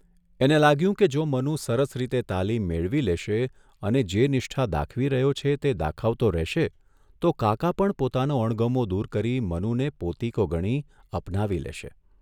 એને લાગ્યું કે જો મનુ સરસ રીતે તાલીમ મેળવી લેશે અને જે નિષ્ઠા દાખવી રહ્યો છે તે દાખવતો રહેશે તો કાકા પણ પોતાનો અણગમો દૂર કરી મનુને પોતીકો ગણી અપનાવી લેશે.